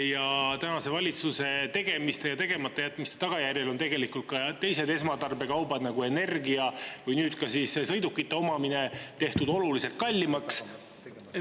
Ja tänase valitsuse tegemiste ja tegematajätmiste tagajärjel on tegelikult ka teised esmatarbekaubad, nagu energia või nüüd ka sõidukite omamine, tehtud oluliselt kallimaks.